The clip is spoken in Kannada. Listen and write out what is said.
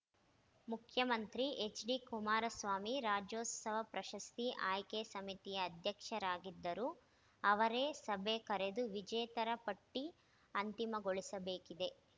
ಮುಖ್ಯಮಂತ್ರಿ ಎಚ್‌ಡಿಕುಮಾರಸ್ವಾಮಿ ರಾಜ್ಯೋತ್ಸವ ಪ್ರಶಸ್ತಿ ಆಯ್ಕೆ ಸಮಿತಿಯ ಅಧ್ಯಕ್ಷರಾಗಿದ್ದು ಅವರೇ ಸಭೆ ಕರೆದು ವಿಜೇತರ ಪಟ್ಟಿಅಂತಿಮಗೊಳಿಸಬೇಕಿದೆ